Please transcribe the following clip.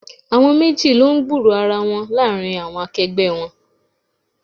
Àwọn méjì lọ ń gburo ara wọn láàárín àwọn akẹgbẹ́ wọn.